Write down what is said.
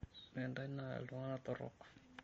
Ore ntae naa iltungana torok.